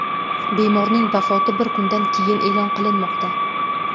Bemorning vafoti bir kundan keyin e’lon qilinmoqda.